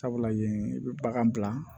Sabula yen i bɛ bagan bila